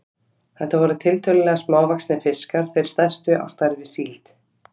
Þetta voru tiltölulega smávaxnir fiskar, þeir stærstu á stærð við síld.